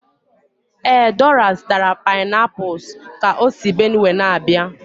Ee, Dora zụtara painapuls ka o si Benue na-abịa